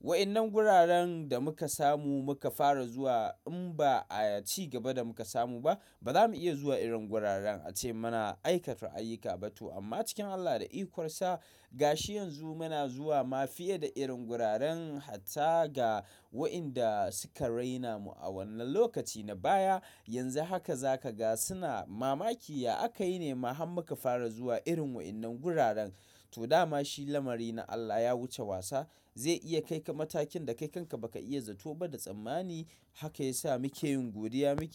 Wa'innan guraren da muka samu muka fara zuwa in ba ayat cigaba da muka samu ba ba za mu iya zuwa irin guraren ace muna aikata ayyuka ba. To amma cikin Allah da ikonsa gashi yanzu muna zuwa ma fiye da irin guraren hata ga wa'inda suka raina mu a wannan lokaci na baya. Yanzu haka za ka ga suna mamaki ya aka yi ne ma har muka fara zuwa irin wa'innan guraren. To dama shi lamari na Allah ya wuce wasa zai iya kai ka matakin da kai kanka ba ka iya zato ba da tsammani. Haka ya sa muke yin godiya miki.